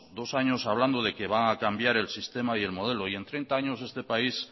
dos años hablando de que va acambiar el sistema y el modelo y en treinta años este país